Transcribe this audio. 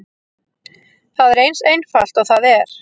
Það er eins einfalt og það er.